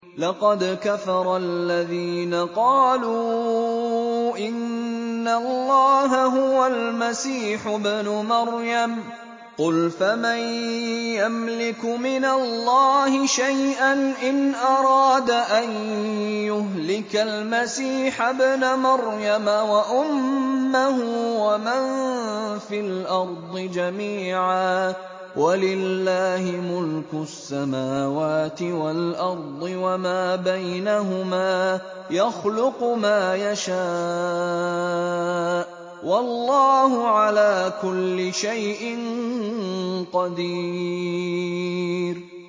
لَّقَدْ كَفَرَ الَّذِينَ قَالُوا إِنَّ اللَّهَ هُوَ الْمَسِيحُ ابْنُ مَرْيَمَ ۚ قُلْ فَمَن يَمْلِكُ مِنَ اللَّهِ شَيْئًا إِنْ أَرَادَ أَن يُهْلِكَ الْمَسِيحَ ابْنَ مَرْيَمَ وَأُمَّهُ وَمَن فِي الْأَرْضِ جَمِيعًا ۗ وَلِلَّهِ مُلْكُ السَّمَاوَاتِ وَالْأَرْضِ وَمَا بَيْنَهُمَا ۚ يَخْلُقُ مَا يَشَاءُ ۚ وَاللَّهُ عَلَىٰ كُلِّ شَيْءٍ قَدِيرٌ